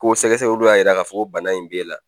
Ko sɛgɛsɛgɛliw y'a yira k'a fɔ ko bana in be la